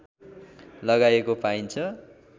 लगाइएको पाइन्छ